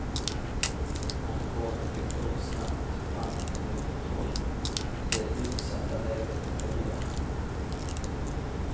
Brandkåren fick dock snabbt branden under kontroll i det utsatta läget i oljehamnen.